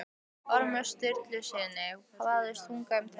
Ormi Sturlusyni vafðist tunga um tönn.